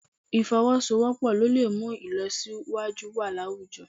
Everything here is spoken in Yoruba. Ì̀fọwọ́sowọ́pọ̀ ló lè mú ìlọsíwájú wà láwùjọ